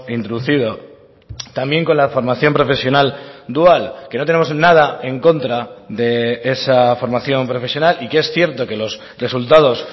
introducido también con la formación profesional dual que no tenemos nada en contra de esa formación profesional y que es cierto que los resultados